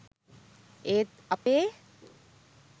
ඒත් අපේ